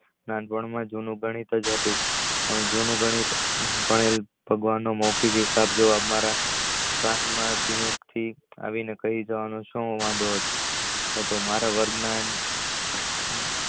નાનપણ માં ગણિત જ હતું પણ જૂનું ગણિત ભગવાન નો મૌખિક હિસાબ જો મારા કહી જવામાં મારા વર્ગના